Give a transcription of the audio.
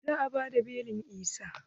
Za a bada belin Isah.